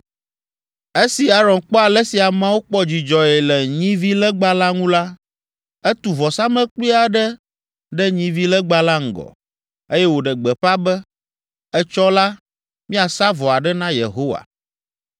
Esi Aron kpɔ ale si ameawo kpɔ dzidzɔe le nyivilegba la ŋu la, etu vɔsamlekpui aɖe ɖe nyivilegba la ŋgɔ, eye wòɖe gbeƒã be, “Etsɔ la, míasa vɔ aɖe na Yehowa!”